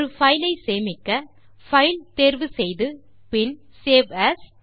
ஒரு பைல் ஐ சேமிக்க பைல் தேர்வு செய்து பின் சேவ் ஏஎஸ்